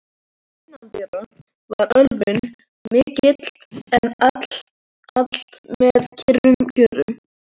Innandyra var ölvun mikil, en allt með kyrrum kjörum.